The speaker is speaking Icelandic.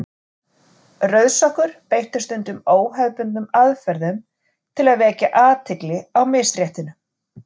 Rauðsokkur beittu stundum óhefðbundnum aðferðum til að vekja athygli á misréttinu.